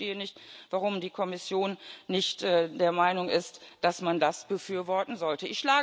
Ich verstehe nicht, warum die Kommission nicht der Meinung ist, dass man das befürworten sollte.